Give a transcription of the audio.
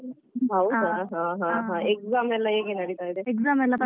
ಹೌದಾ ಹಾ ಹಾ ovrlap exam ಎಲ್ಲ ಹೇಗೆ ನಡಿತಾ ಇದೆ?